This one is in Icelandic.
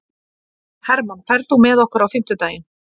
Hermann, ferð þú með okkur á fimmtudaginn?